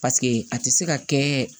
Paseke a tɛ se ka kɛ